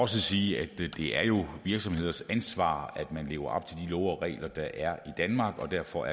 sige at det er jo er virksomheders ansvar at man lever op til love og regler der er i danmark og derfor